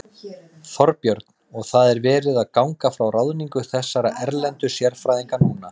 Þorbjörn: Og það er verið að ganga frá ráðningu þessara erlendu sérfræðinga núna?